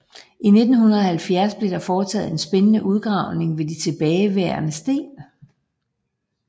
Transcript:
I 1970 blev der foretaget en spændende udgravning ved de tilbageværende sten